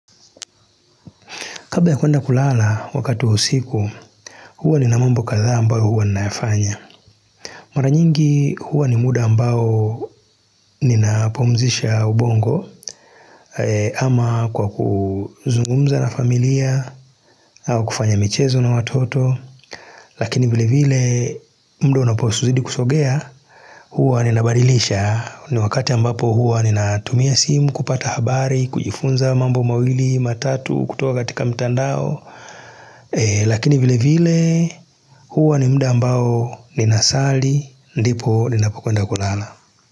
Kabla ya kuenda kulala wakati usiku, huwa nina mambo kadhaa ambayo huwa ninayafanya. Mara nyingi huwa ni muda ambao ninapo pumzisha ubongo kama kwa kuzungumza na familia au kufanya michezo na watoto. Lakini vile vile muda unapozidi kusongea huwa ninabadilisha ni wakati ambapo huwa ninatumia simu kupata habari, kujifunza mambo mawili matatu kutuko katika mitandao. Lakini vile vile huwa ni muda mbao ninasali ndipo ninapokwenda kulala.